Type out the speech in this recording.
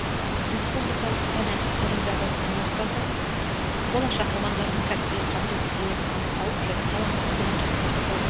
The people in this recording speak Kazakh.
республикалық пән олимпиадасының мақсаты болашақ мамандардың кәсіби қабілеттерін анықтау және талантты студент жастарды қолдау